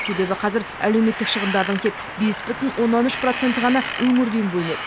себебі қазір әлеуметтік шығындардың тек бес бүтін оннан үш проценті ғана өңірден бөлінеді